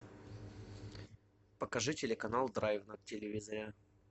покажи телеканал драйв на телевизоре